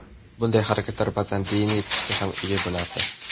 Bunday harakatlar ba’zan diniy tusga ham ega bo‘lardi.